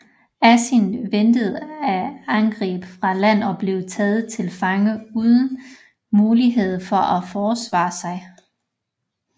Asin ventede et angreb fra land og blev taget til fange uden mulighed for at forsvare sig